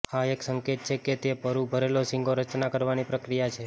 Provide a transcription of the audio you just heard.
આ એક સંકેત છે કે તે પરુ ભરેલો શીંગો રચના કરવાની પ્રક્રિયા છે